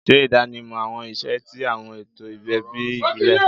Ṣe idanimọ awọn iṣẹ ti awọn eto ẹbi ibile